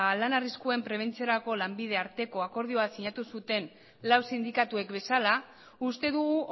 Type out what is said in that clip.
lan arriskuen prebentzioarako lanbide arteko akordioa sinatu zuten lau sindikatuek bezala uste dugu